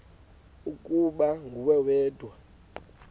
ukuba nguwe wedwa